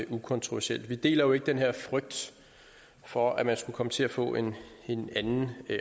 ukontroversielt vi deler jo ikke den her frygt for at man skulle komme til at få en en anden